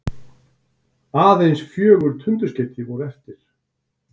Aðeins fjögur tundurskeyti voru eftir.